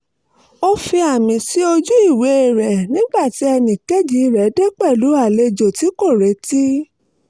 ó fi àmì sí ojú ìwé rẹ̀ nígbà tí ẹnì kejì rẹ̀ dé pẹ̀lú àwọn àlejò tí kò retí